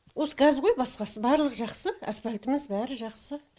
осы газ ғой басқасы барлығы жақсы асфальтіміз бәрі жақсы